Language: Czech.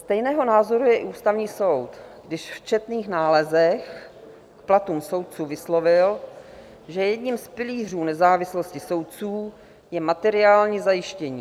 Stejného názoru je i ústavní soud, když v četných nálezech k platům soudců vyslovil, že jedním z pilířů nezávislosti soudců je materiální zajištění.